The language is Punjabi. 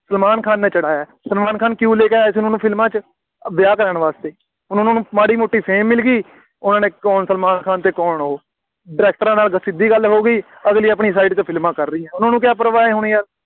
ਸਲਮਾਨ ਖਾਨ ਨੇ ਚੜ੍ਹਾਇਆ, ਸਲਮਾਨ ਖਾਨ ਕਿਉਂ ਲੈ ਕੇ ਆਇਆ ਸੀ ਉਨ੍ਹਾ ਨੂੰ ਫਿਲਮਾਂ ਵਿੱਚ, ਵਿਆਹ ਕਰਾਉਣ ਵਾਸਤੇ, ਹੁਣ ਉਹਨਾ ਨੂੰ ਮਾੜ੍ਹੀ ਮੋਟੀ fame ਮਿਲ ਗਈ, ਉਹਨਾ ਨੇ, ਕੌਣ ਸਲਮਾਨ ਖਾਨ, ਕੌਣ ਉਹ, ਡਾਇਰੈਕਟਰਾਂ ਨਾਲ ਸਿੱਧੀ ਗੱਲ ਹੋ ਗਈ, ਅਗਲੀ ਆਪਣੀ side 'ਤੇ ਫਿਲਮਾਂ ਕਰ ਰਹੀ ਹੈ। ਉਹਨਾ ਨੂੰ ਕਿਆ ਪਰਵਾਹ ਹੇਣੀ ਯਾਰ,